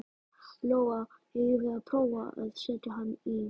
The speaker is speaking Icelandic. Lóa: Eigum við að prófa að setja hann í?